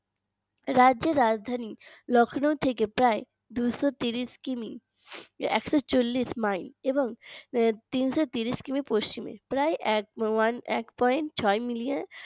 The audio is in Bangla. রাজ্যের রাজধানী Lucknow থেকে প্রায় দুইশো কিমি একশো চল্লিশ মাইল এবং তিনশো কিমি পশ্চিমে প্রায় one এক point ছয় মিলিয়ন